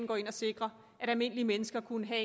gå ind og sikre at almindelige mennesker kunne have